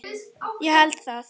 Ég held það.